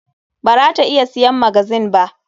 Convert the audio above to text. Bara ta iya siyan magazine ba.